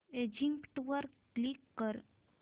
exit वर click कर